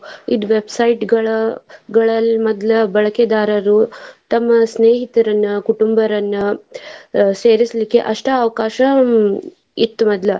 ಇದ್ web site ಗಳಲ್ಲಿ ಮೊದ್ಲ ಬಳಕೆದಾರರು ತಮ್ಮ ಸ್ನೇಹಿತರನ್ನ ಕುಟುಂಬರನ್ನ ಅಹ್ ಸೇರಸಲಿಕ್ಕೆ ಅಷ್ಟ ಅವಕಾಶ ಇತ್ ಮೊದ್ಲ.